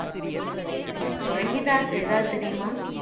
பிரகிதாக்கு ஏதாவது தெரியுமா